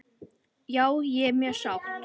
Já ég er mjög sátt.